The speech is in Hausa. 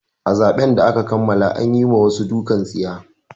A zaben da aka kammala an yi ma wasu dukan tsiya.